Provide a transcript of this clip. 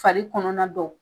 Fali kɔnɔna dɔw